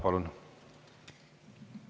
Palun!